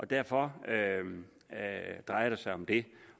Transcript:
derfor drejer det sig om det